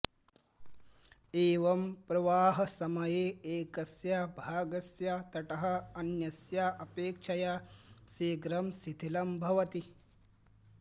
एवं प्रवाहसमये एकस्य भागस्य तटः अन्यस्य अपेक्षया शीघ्रं शिथिलं भवति